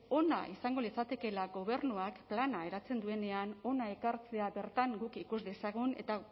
ona izango litzatekela gobernuak plana eratzen duenean hona ekartzea bertan guk ikus dezagun eta